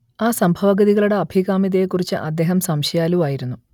ആ സംഭവഗതികളുടെ അഭികാമ്യതയെക്കുറിച്ച് അദ്ദേഹം സംശയാലുവായിരുന്നു